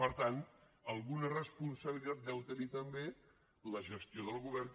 per tant alguna responsabilitat deu tenir també la gestió del govern